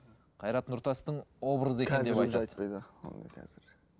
қайрат нұртастың образы екен деп айтады